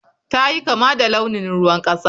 Ta yi kama da launin ruwan kasa.